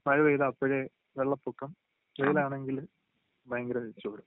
മഴയേ പെയ്ത അപ്പോഴേ വെള്ളപ്പൊക്കം തൊഴലാണെങ്കില് വയങ്കര മിച്ചവും